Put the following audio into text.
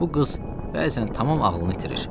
Bu qız bəzən tamam ağlını itirir.